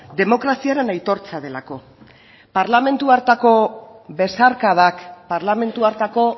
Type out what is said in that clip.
demokraziaren aitortza delako parlamentu hartako besarkadak parlamentu hartako